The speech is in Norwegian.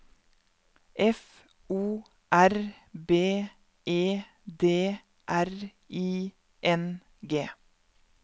F O R B E D R I N G